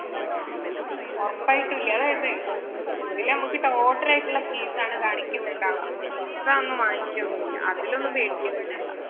ഒറപ്പായിട്ടും . ഇതില് നമ്മള് total ആയിട്ടുള്ള fees ആണ് കാണിക്കുന്നുണ്ടാവുക. extra ഒന്നും വാങ്ങിക്കുകയോന്നുമില്ല. അതില് ഒന്നും പേടിക്കുകയും ഒന്നും വേണ്ട.